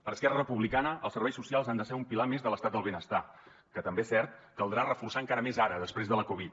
per esquerra republicana els serveis socials han de ser un pilar més de l’estat del benestar que també és cert caldrà reforçar encara més ara després de la covid